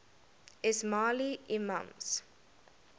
ismaili imams